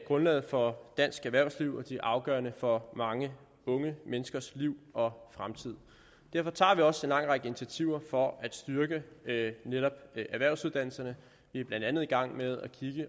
grundlaget for dansk erhvervsliv og de er afgørende for mange unge menneskers liv og fremtid derfor tager vi også en lang række initiativer for at styrke netop erhvervsuddannelserne vi er blandt andet i gang med